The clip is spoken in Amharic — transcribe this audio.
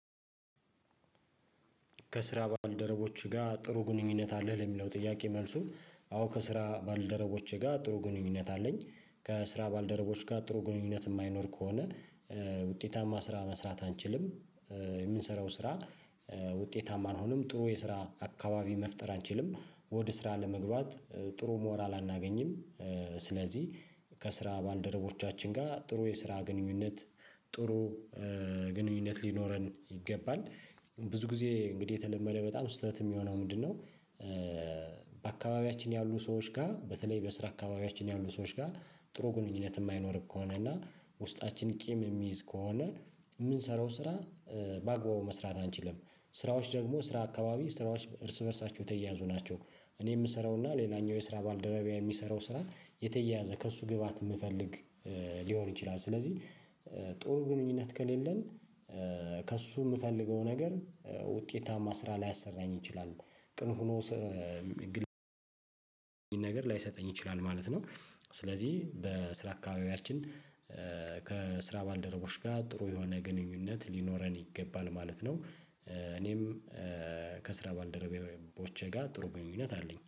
ከስራ ባልደረቦችህ ጋር ጥሩ ግንኙነት አለህ ለሚለው ጥያቄ መልሱ አዎ ከስራ ባልደረቦቼ ጋር ጥሩ ግንኙነት አለኝ። ከስራ ባልደረቦች ጋር ጥሩ ግንኙነት የማይኖር ከሆነ ውጤታማ ስራ መስራት አንችልም። የምንሰራው ስራ ውጤታማ አንሆንም ጥሩ የስራ አካባቢ መፍጠር አንችልም ወደ ስራ ለመግባት ጥሩ ሞራል አናገኝም። ስለዚህ ከስራ ባልደረቦቻችን ጋር ጥሩ የስራ ግንኙነት ጥሩ ግንኙነት ሊኖረን ይገባል። ብዙ ጊዜ እንግዲህ የተለመደ በጣም ስህተት የሚሆነው ምንድነው? በአካባቢያችን ያሉ ሰዎች ጋር በተለይ በስራ አካባቢያችን ያሉ ሰዎች ጋር ጥሩ ግንኙነት የማይኖር ከሆነ እና ውስጣችን ቂም የሚይዝ ከሆነ የምንሰራው ስራ በአግባቡ መስራት አንችልም። ስራዎች ደግሞ ስራ አካባቢ ስራዎች እርስ በእርሳቸው የተያያዙ ናቸው። እኔ የምሰራው እና ሌላኛው የስራ ባልደረቢያ የሚሰራው ስራን የተያያዘ ከእሱ ግብአት የምፈልግ ሊሆን ይችላል። ስለዚህ ጥሩ ግንኙነት ከሌለን ከእሱ የምፈልገው ነገር ውጤታማ ስራ ላያሰራኝ ይችላል። ግን ሆኖ ስር ግን ነገር ላይሰጠኝ ይችላል ማለት ነው። ስለዚህ በስራ አካባቢያችን ከስራ ባልደረቦች ጋ ጥሩ የሆነ ግንኙነት ሊኖረን ይገባል ማለት ነው። እኔም ከስራ ባልደረቦቼ ጋር ጥሩ ግንኙነት አለኝ